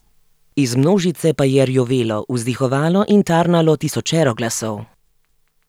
Iz množice pa je rjovelo, vzdihovalo in tarnalo tisočero glasov.